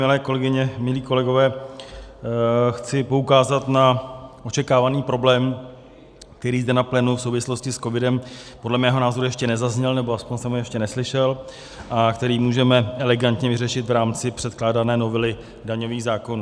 Milé kolegyně, milí kolegové, chci poukázat na očekávaný problém, který zde na plénu v souvislosti s covidem podle mého názoru ještě nezazněl, nebo aspoň jsem ho ještě neslyšel, a který můžeme elegantně vyřešit v rámci předkládané novely daňových zákonů.